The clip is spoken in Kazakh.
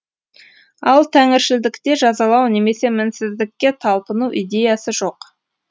ал тәңіршілдікте жазалау немесе мінсіздікке талпыну идеясы жоқ